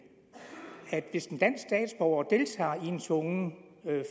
at hvis en dansk statsborger deltager i en tvungen